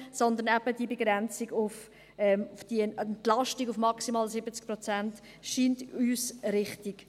Aber uns scheint eben diese Begrenzung, diese Entlastung auf maximal 70 Prozent richtig.